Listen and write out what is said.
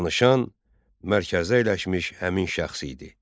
Danışan mərkəzdə əyləşmiş həmin şəxs idi.